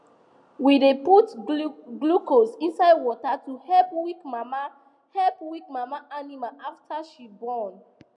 we dey put glucose inside water to help weak mama help weak mama animal after she born